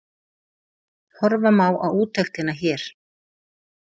Horfa má á úttektina hér